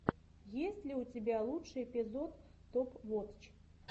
есть ли у тебя лучший эпизод топ вотч